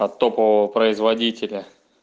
от топового производителя